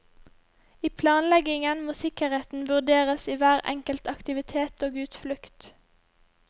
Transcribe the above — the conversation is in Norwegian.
I planleggingen må sikkerheten vurderes i hver enkel aktivitet og utflukt.